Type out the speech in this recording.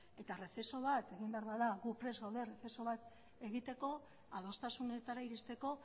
eta errezeso bat egin behar bada gu prest gaude errezeso bat egiteko adostasunetara iristeko